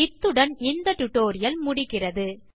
இத்துடன் இந்த டியூட்டோரியல் முடிகிறது